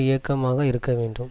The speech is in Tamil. இயக்கமாக இருக்க வேண்டும்